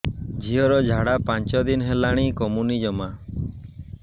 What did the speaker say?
ଝିଅର ଝାଡା ପାଞ୍ଚ ଦିନ ହେଲାଣି କମୁନି ଜମା